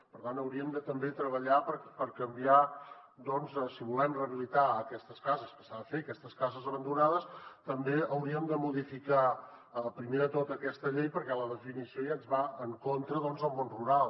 per tant hauríem de també treballar per canviar doncs si volem rehabilitar aquestes cases que s’ha de fer aquestes cases abandonades també hauríem de modificar primer de tot aquesta llei perquè la definició ja ens va en contra doncs del món rural